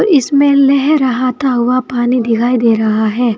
इसमें लहराता हुआ पानी दिखाई दे रहा है।